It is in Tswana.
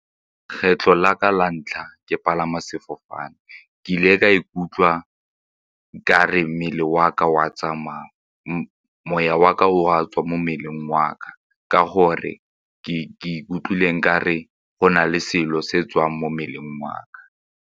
Kgetlho la ka la ntlha ke palama sefofane ke ile ka ikutlwa ka re mmele wa ka o a tsamaya, moya wa ka o a tswa mo mmeleng wa ka ka gore ke ikutlwile ka re go na le selo se tswang mo mmeleng wa ka.